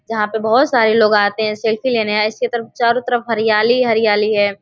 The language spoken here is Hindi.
जहाँ पे बोहोत सारे लोग आते है सेल्फी लेने ऐसे तरफ चोरो तरफ हरियाली ही हरियाली है।